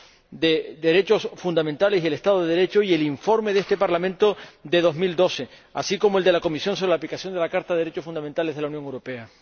sobre los derechos fundamentales y el Estado de Derecho y el informe de este Parlamento de 2012, así como el de la Comisión sobre la aplicación de la Carta de los Derechos Fundamentales de la Unión Europea.